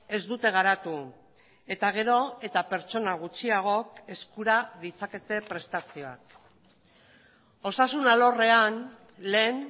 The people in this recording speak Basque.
ez dute garatu eta gero eta pertsona gutxiagok eskura ditzakete prestazioak osasun alorrean lehen